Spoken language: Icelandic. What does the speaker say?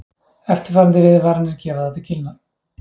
Eftirfarandi viðvaranir gefa það til kynna